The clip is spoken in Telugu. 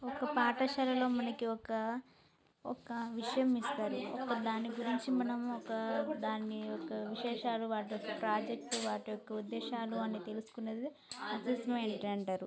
ఒక పాటశాల లో మనకి ఒక ఒక విషయం యిస్తారు దాని గురించి మనం ఒక దాన్ని విశేషాలు .